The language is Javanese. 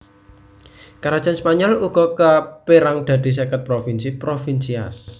Karajan Spanyol uga kapérang dadi seket provinsi provincias